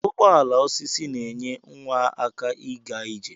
Ụgbọala osisi na enye nwa aka iga ije.